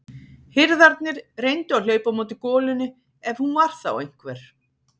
Hirðarnir reyndu að hlaupa á móti golunni ef hún var þá einhver.